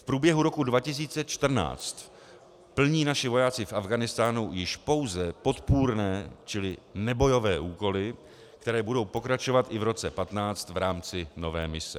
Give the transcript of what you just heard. V průběhu roku 2014 plní naši vojáci v Afghánistánu již pouze podpůrné, čili nebojové úkoly, které budou pokračovat i v roce 2015 v rámci nové mise.